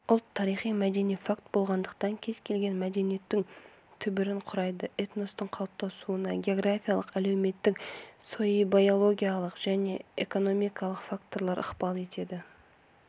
ұлт тарихи-мәдени факт болғандықтан кез келген мәдениеттің түбірін құрайды этностың қалыптасуына географиялық әлеуметтік соииобиологиялық және экономикалық факторлар ықпал етеді